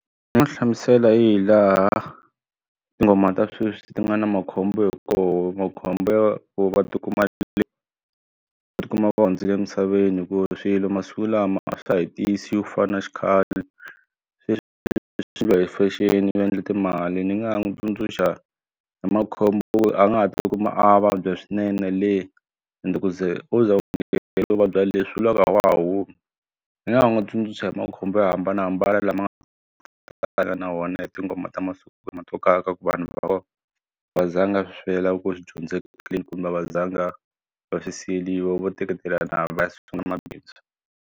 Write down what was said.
Ni nga hlamusela hi laha tinghoma ta sweswi ti nga na makhombo hi koho makhombo ya ku va ti kuma va ti kuma va hundzile emisaveni hikuva swilo masiku lama a swa ha tiyisiwi ku fana na xikhale hi fashion u endle timali ni nga ha n'wi tsundzuxa hi makhombo a nga ha ti kuma a vabya swinene le ende ku ze wo ze u u vabya le swi vula ku a wa ha humi ndzi nga ha n'wi tsundzuxa hi makhombo yo hambanahambana lama nga na wona hi tinghoma ta masiku vanhu va kona va zanga kumbe a va zanga va swi siyeriwa vo teketelana va sungula mabindzu.